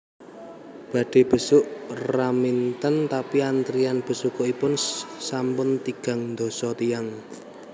Badhe besuk Raminten tapi antrian besukipun sampun tigang ndasa tiyang